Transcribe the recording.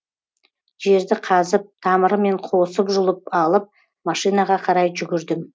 жерді қазып тамырымен қосып жұлып алып машинаға қарай жүгірдім